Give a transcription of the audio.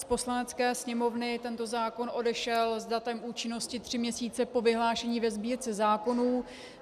Z Poslanecké sněmovny tento zákon odešel s datem účinnosti tři měsíce po vyhlášení ve Sbírce zákonů.